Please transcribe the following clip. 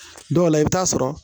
Dɔw la i bɛ taa sɔrɔ